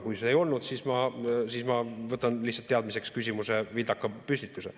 Kui see ei olnud nii, siis ma võtan lihtsalt teadmiseks küsimuse vildaka püstituse.